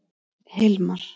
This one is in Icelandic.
Hilmar